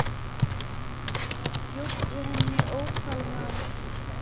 Bjóddu henni ópal, maður.